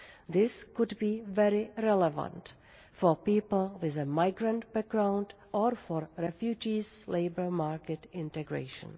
This could be very relevant for people with a migrant background or for refugees' labour market integration.